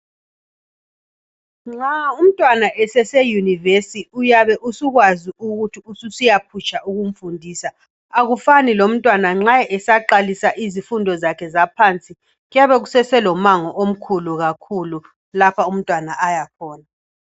Nxa umntwana sesiya e yunivesi uyabe usukwazi ukuthi ususiyaphutsha ukumfundisa , akufani lomtwana nxa esaqalisa izifundo zakhe zaphansi kuyabe kusaselomango omkhulu kakhulu lapha umntwana ayakhona